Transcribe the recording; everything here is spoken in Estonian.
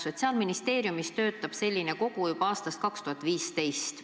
Sotsiaalministeeriumis töötab selline nõukogu juba aastast 2015.